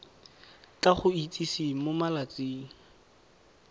tla go itsise mo malatsing